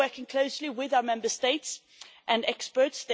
We are working closely with our Member States and experts.